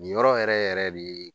Nin yɔrɔ yɛrɛ yɛrɛ de ye